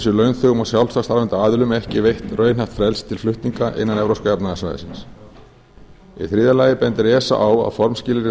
sé launþegum og sjálfstætt starfandi aðilum ekki veitt raunhæft frelsi til flutninga innan evrópska efnahagssvæðisins í þriðja lagi bendir esa á að formskilyrði